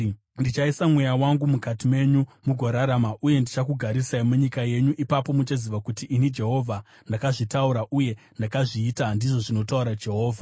Ndichaisa mweya wangu mukati menyu mugorarama, uye ndichakugarisai munyika yenyu. Ipapo muchaziva kuti ini Jehovha ndakazvitaura, uye ndakazviita, ndizvo zvinotaura Jehovha.’ ”